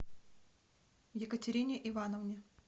екатерине ивановне